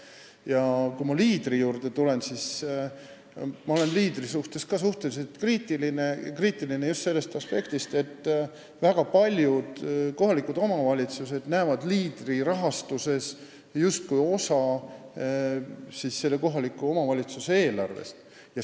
Ja kui Leaderi juurde tulla, siis ma olen selle suhtes ka üsna kriitiline: just sellest aspektist, et väga paljud kohalikud omavalitsused näevad Leaderi rahastust kui kohaliku omavalitsuse eelarve osa.